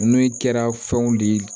N'o kɛra fɛnw de ye